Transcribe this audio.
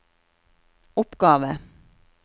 oppgave